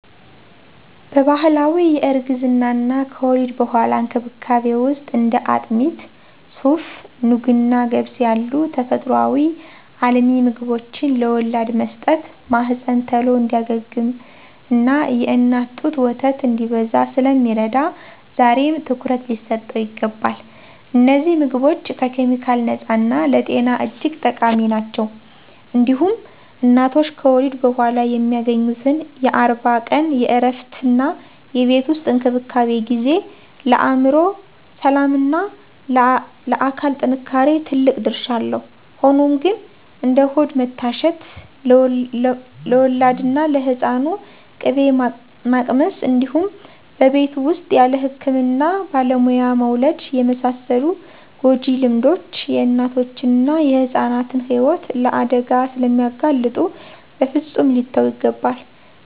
በባህላዊ የእርግዝናና ከወሊድ በኋላ እንክብካቤ ውስጥ እንደ አጥሚት፣ ሱፍ፣ ኑግና ገብስ ያሉ ተፈጥሮአዊ አልሚ ምግቦችን ለወላድ መስጠት ማህፀን ቶሎ እንዲያገግምና የእናት ጡት ወተት እንዲበዛ ስለሚረዳ ዛሬም ትኩረት ሊሰጠው ይገባል። እነዚህ ምግቦች ከኬሚካል ነፃና ለጤና እጅግ ጠቃሚ ናቸው። እንዲሁም እናቶች ከወሊድ በኋላ የሚያገኙት የአርባ ቀን የእረፍትና የቤት ውስጥ እንክብካቤ ጊዜ፣ ለአእምሮ ሰላምና ለአካል ጥንካሬ ትልቅ ድርሻ አለው። ሆኖም ግን፣ እንደ ሆድ መታሸት፣ ለወላድና ለህፃኑ ቅቤ ማቅመስ እንዲሁም በቤት ውስጥ ያለ ህክምና ባለሙያ መውለድ የመሳሰሉ ጎጂ ልማዶች የእናቶችንና የህፃናትን ህይወት ለአደጋ ስለሚያጋልጡ በፍፁም ሊተዉ ይገባል።